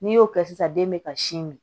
N'i y'o kɛ sisan den bɛ ka sin min